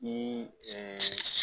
Ni